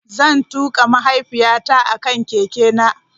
Zan tuka mahaifiyata a kan keke na.